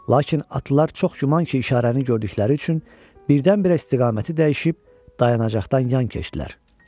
Lakin atlılar çox yəqin ki, işarəni gördükləri üçün birdən-birə istiqaməti dəyişib dayanacaqdan yan keçdilər